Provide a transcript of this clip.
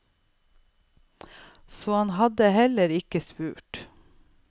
Så han hadde heller ikke spurt.